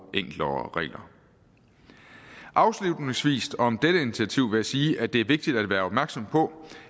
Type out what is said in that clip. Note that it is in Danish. enklere regler afslutningsvis om dette initiativ vil jeg sige at det er vigtigt at være opmærksom på